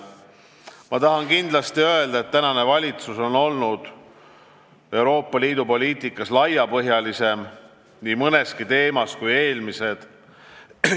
Ma tahan kindlasti öelda, et praegune valitsus on olnud Euroopa Liidu poliitikas mõndagi teemat lahanud laiemalt kui eelmised.